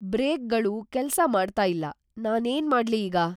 ಬ್ರೇಕ್‌ಗಳು ಕೆಲ್ಸ ಮಾಡ್ತಾ ಇಲ್ಲ. ನಾನೇನ್‌ ಮಾಡ್ಲಿ ಈಗ?